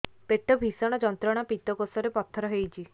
ପେଟ ଭୀଷଣ ଯନ୍ତ୍ରଣା ପିତକୋଷ ରେ ପଥର ହେଇଚି